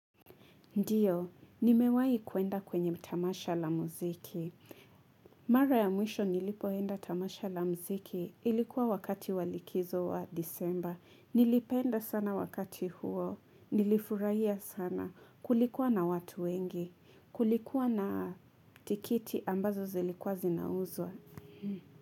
Ndiyo, nimewahi kuenda kwenye tamasha la muziki. Mara ya mwisho nilipoenda tamasha la muziki ilikuwa wakati walikizo wa disemba. Nilipenda sana wakati huo. Nilifurahia sana kulikuwa na watu wengi. Kulikuwa na tikiti ambazo zilikuwa zinauzwa.